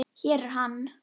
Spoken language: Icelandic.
Hér er hann.